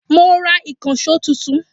Mo ń rà ìkànsó tuntun